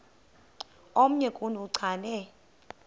omnye kuni uchane